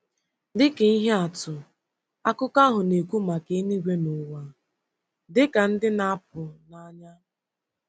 Dị ka ihe atụ, akụkọ ahụ na-ekwu maka eluigwe na ụwa dị ka ndị ‘ na-apụ n’anya. ’